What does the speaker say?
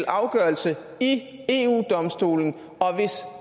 afgørelse i eu domstolen og hvis